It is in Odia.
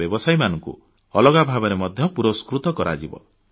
ବ୍ୟବସାୟୀମାନଙ୍କୁ ମଧ୍ୟ ଅଲଗା ଭାବରେ ପୁରସ୍କୃତ କରାଯିବ